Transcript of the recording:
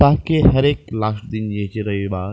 ताकि हर एक लास्ट दिन ये --